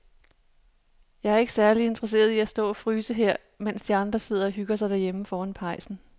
Jeg er ikke særlig interesseret i at stå og fryse her, mens de andre sidder og hygger sig derhjemme foran pejsen.